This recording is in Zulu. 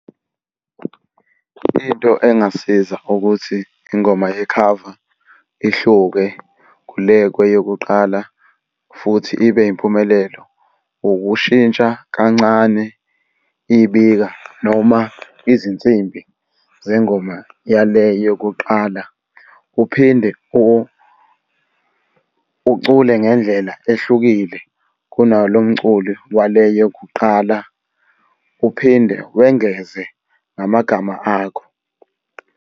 Into engasiza ukuthi ingoma yekhava ihluke kule kweyokuqala futhi ibe yimpumelelo. Ukushintsha kancane ibika noma izinsimbi zengoma yale yokuqala. Uphinde ucule ngendlela ehlukile kunalo mculi wale yokuqala, uphinde wengeze namagama akho.